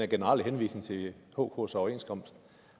generelle henvisning til hks overenskomst